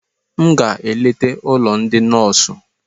M ga-eleta ụlọ ndị nọọsụ